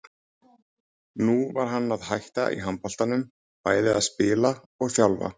Nú var hann að hætta í handboltanum, bæði að spila og þjálfa.